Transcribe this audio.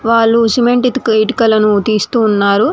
వాళ్ళు సిమెంట్ ఇటుకలను తీస్తూ ఉన్నారు.